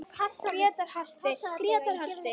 Grétar halti, Grétar halti!